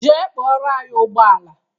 Jee kpọrọ anyị ụgbọala!